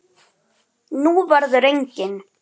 Nú verður engin.